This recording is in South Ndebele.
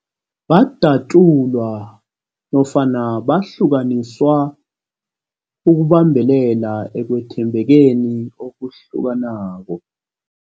Badatjulwa nofana bahlukaniswa ukubambelela ekwethembekeni okuhlukanako.